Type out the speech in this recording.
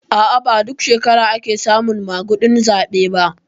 A'a ba duk shekara ake samun maguɗin zaɓe ba